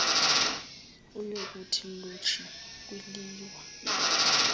uyokuthi lontshi kwiliwa